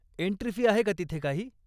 Entry fee आहे का तिथे काही?